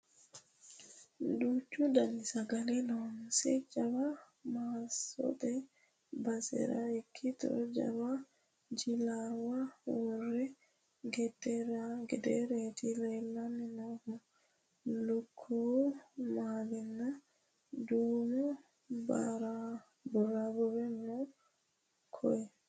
Duuchu dani sagale loonse jawa maassote basera ikkitto jawa jillawa worani gedereti leellani noohu lukkuwu malinna duume barbare no koye.